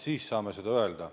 Siis saab seda öelda.